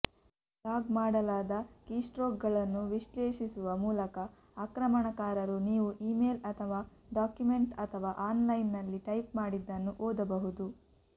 log ಮಾಡಲಾದ ಕೀಸ್ಟ್ರೋಕ್ಗಳನ್ನು ವಿಶ್ಲೇಷಿಸುವ ಮೂಲಕ ಆಕ್ರಮಣಕಾರರು ನೀವು ಇಮೇಲ್ ಅಥವಾ ಡಾಕ್ಯುಮೆಂಟ್ ಅಥವಾ ಆನ್ಲೈನ್ನಲ್ಲಿ ಟೈಪ್ ಮಾಡಿದ್ದನ್ನು ಓದಬಹುದು